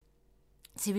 TV 2